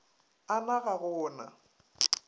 a na ga go na